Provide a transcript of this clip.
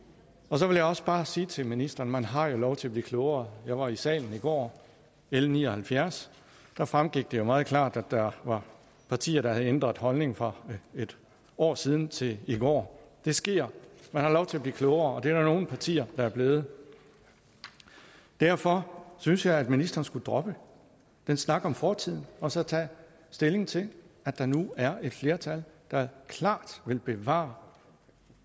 så vil jeg også bare sige til ministeren man har jo lov til at blive klogere jeg var i salen i går l ni og halvfjerds der fremgik gik det jo meget klart at der var partier der havde ændret holdning fra for et år siden og til i går det sker man har lov til at blive klogere og der nogle partier der er blevet derfor synes jeg at ministeren skulle droppe den snak om fortiden og så tage stilling til at der nu er et flertal der klart vil bevare